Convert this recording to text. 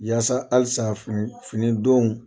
Yaasa halisa fini finidonw